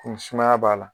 Komi sumaya b'a la